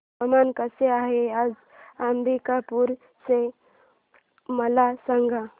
हवामान कसे आहे आज अंबिकापूर चे मला सांगा